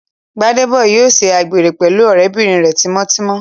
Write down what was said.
Gbádébọ̀ yóò ṣe àgbèrè pẹ̀lú ọ̀rẹ́bìnrin rẹ̀ tímọ́ tímọ́